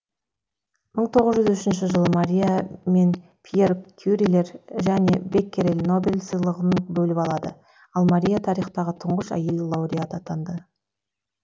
мың тоғыз жүз үшінші жылы мария мен пьер кюрилер және беккерель нобель сыйлығын бөліп алады ал мария тарихтағы тұңғыш әйел лауреат атанады